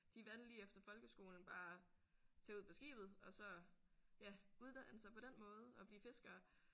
De valgte lige efter folkeskolen bare tage ud på skibet og så ja uddanne sig på den måde og blive fiskere